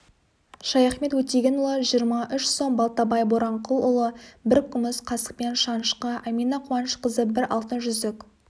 шаяхмет өтегенұлы жиырма үш сом балтабай боранқұлұлы бір күміс қасықпен шанышқы әмина қуанышқызы бір алтын жүзік